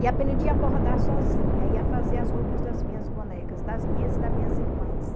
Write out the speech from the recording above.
E aprendi a bordar sozinha, e a fazer as roupas das minhas bonecas, das minhas e das minhas irmãs.